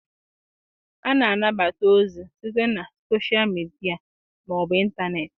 A na-anata ozi site na soshal midia ma ọ bụ ịntanetị.